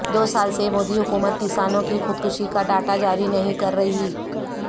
دو سال سے مودی حکومت کسانوں کی خودکشی کا ڈاٹا جاری نہیں کر رہی